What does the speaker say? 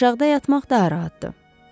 Aşağıda yatmaq daha rahatdır.